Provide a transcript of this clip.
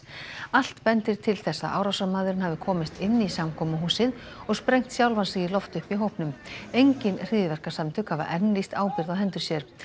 allt bendir til þess að árásarmaðurinn hafi komist inn í samkomuhúsið og sprengt sjálfan sig í loft upp í hópnum engin hryðjuverkasamtök hafa enn lýst ábyrgð á hendur sér